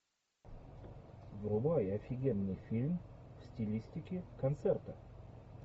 врубай офигенный фильм в стилистике концерта